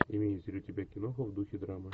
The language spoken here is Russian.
имеется ли у тебя киноха в духе драмы